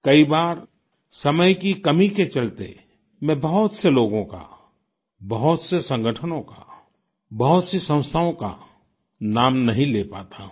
कई बार समय की कमी के चलते मैं बहुत से लोगों का बहुत से संगठनों का बहुत सी संस्थाओं का नाम नहीं ले पाता हूँ